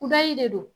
Kudayi de don